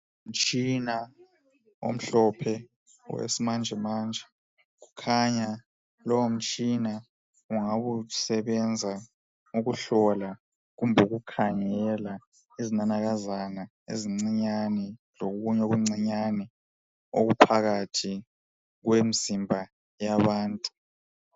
Umtshina omhlophe, owesimanjemanje. Kukhanya lowomtshina ungabe usebenza ukuhlola kumbe ukukhangela okuyizinanakazana ezincinyane, lokunye okuncinyane okungaphakathi kwemizimba yabantu.